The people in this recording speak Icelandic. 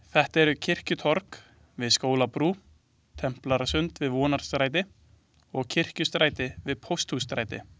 Þetta eru Kirkjutorg við Skólabrú, Templarasund við Vonarstræti og Kirkjustræti við Pósthússtræti.